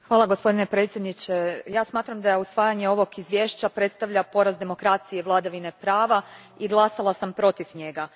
Gospodine predsjedniče, smatram da usvajanje ovog izvješća predstavlja poraz demokracije i vladavine prava i glasala sam protiv njega.